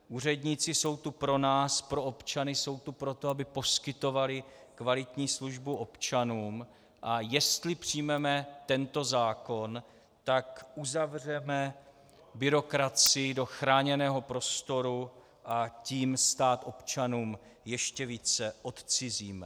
Úředníci jsou tu pro nás, pro občany, jsou tu pro to, aby poskytovali kvalitní službu občanům, a jestli přijmeme tento zákon, tak uzavřeme byrokracii do chráněného prostoru, a tím stát občanům ještě více odcizíme.